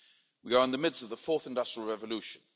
We are in the midst of the fourth industrial revolution.